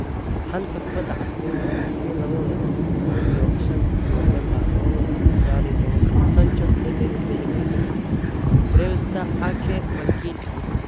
Xanta Kubadda Cagta Yurub Isniin labatan iyo shanta Novembaar labada kuun sagaal iyo tobankaa: Sancho, Emery, Pellegrini, Brewster, Ake, McGinn